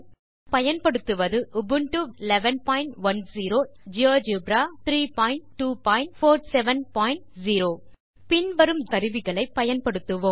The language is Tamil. நாம் பயன்படுத்துவது உபுண்டு வெர்ஷன் 1110 எல்டிஎஸ் மற்றும் ஜியோஜெப்ரா வெர்ஷன் 32470 பின் வரும் ஜியோஜெப்ரா கருவிகளை பயன்படுத்துவோம்